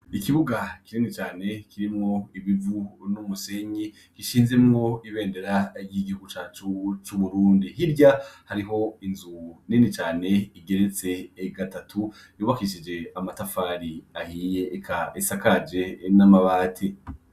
Ikibuga kineni cane kirimwo ibivu n'umusenyi gishinzemwo ibendera y'igihu cacu c'uburundi hirya hariho inzu nenicane igeretse egatatu yobakishije amatafari ahiye eka esa kaje n'amabati.